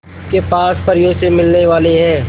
के पास परियों से मिलने वाले हैं